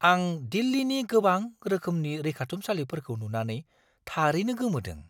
आं दिल्लीनि गोबां रोखोमनि रैखाथुमसालिफोरखौ नुनानै थारैनो गोमोदों!